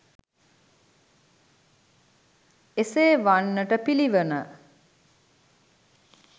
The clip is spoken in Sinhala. එසේ වන්නට පිළිවන.